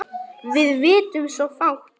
Við vitum svo fátt.